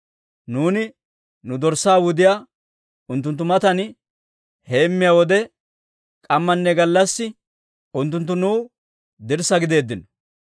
Nuuni nu dorssaa wudiyaa unttunttu matan heemmiyaa wode, k'ammanne gallassi unttunttu nuw dirssaa gideeddino.